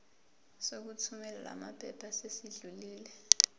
sokuthumela lamaphepha sesidlulile